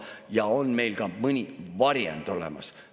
Ja on meil ka mõni varjend olemas.